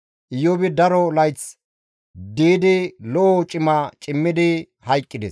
Iyoobi daro layth diidi lo7o cima cimmidi hayqqides.